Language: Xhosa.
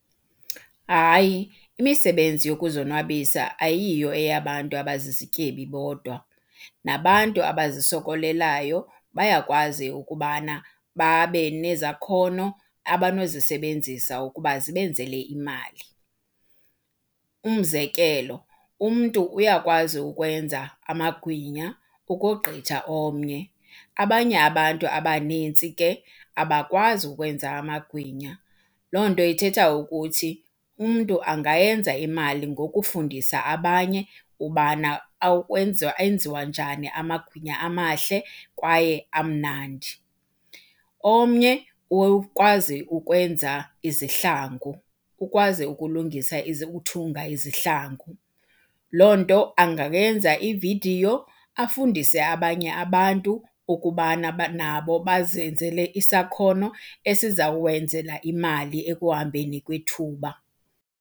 Hayi, imisebenzi yokuzonwabisa ayiyo eyabantu abazizityebi bodwa, nabantu abazisokolelayo bayakwazi ukubana babe nezakhono abanozisebenzisa ukuba zibenzele imali. Umzekelo, umntu uyakwazi ukwenza amagwinya ukogqitha omnye, abanye abantu abanintsi ke abakwazi ukwenza amagwinya. Loo nto ithetha ukuthi umntu angayenza imali ngokufundisa abanye ubana enziwa njani amagwinya amahle kwaye amnandi. Omnye ukwazi ukwenza izihlangu, ukwazi ukulungisa ukuthunga izihlangu. Loo nto angayenza ividiyo afundise abanye abantu ukubana nabo bazenzele isakhono esizawenzela imali ekuhambeni kwethuba.